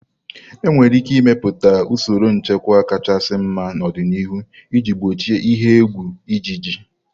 Enwere ike ịmepụta usoro nchịkwa kachasị mma n'ọdịniihu iji gbochie ihe egwu ịjiji.